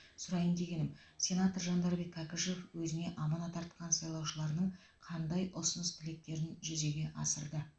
сұрайын дегенім сенатор жандарбек кәкішев өзіне аманат артқан сайлаушыларының қандай ұсыныс тілектерін жүзеге асырды